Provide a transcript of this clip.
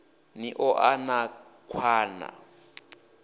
ni ḓo ḓa na nkhwala